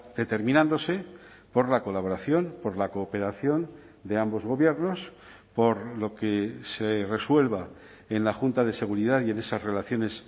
determinándose por la colaboración por la cooperación de ambos gobiernos por lo que se resuelva en la junta de seguridad y en esas relaciones